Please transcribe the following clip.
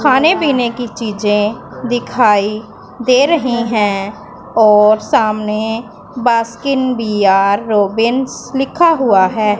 खाने पीने की चीजें दिखाई दे रहे हैं और सामने बास्किन बी_आर रॉबिंस लिखा हुआ है।